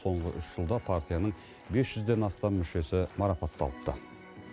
соңғы үш жылда партияның бес жүзден астам мүшесі марапатталыпты